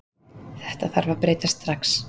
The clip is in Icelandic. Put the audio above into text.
Þetta þarf að breytast strax